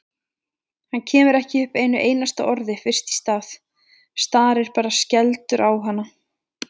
Hann kemur ekki upp einu einasta orði fyrst í stað, starir bara skelfdur á hana.